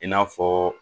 I n'a fɔ